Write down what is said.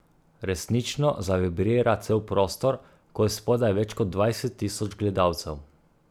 Resnično zavibrira cel prostor, ko je spodaj več kot dvajset tisoč gledalcev.